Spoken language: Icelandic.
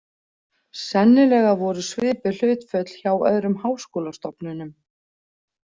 Sennilega voru svipuð hlutföll hjá öðrum háskólastofnunum.